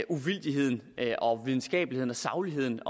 uvildigheden og videnskabeligheden og sagligheden